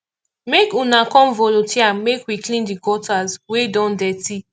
make una come volunteer make we clean the gutters wey don dirty